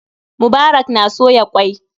Mubarak na soya ƙwai.